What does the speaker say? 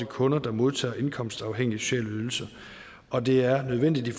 kunder der modtager indkomstafhængige sociale ydelser og det er nødvendigt i